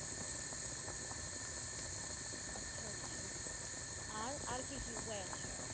আচ্ছা আচ্ছা আর আর কি কি উপায় আছে।